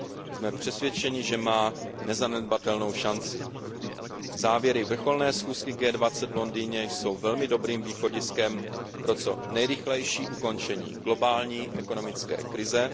Jsme přesvědčeni, že má nezanedbatelnou šanci. Závěry vrcholné schůzky G20 v Londýně jsou velmi dobrým východiskem pro co nejrychlejší ukončení globální ekonomické krize.